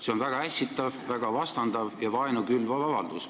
See on väga ässitav, väga vastandav ja vaenu külvav avaldus.